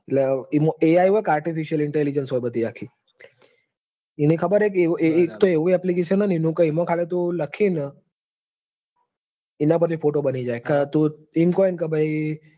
એટલે એમાં AI હોયને artificial intelligence હોય બધી આખી એને ખબર હેકે એનું એકતો એવું appilcation હન એવું કે એમાં તું લખે તો એના પર થી photo બની જાય. તું એમ કોન કે ભાઈ